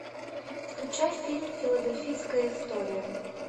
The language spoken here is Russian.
включай фильм филадельфийская история